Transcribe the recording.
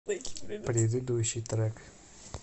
предыдущий трек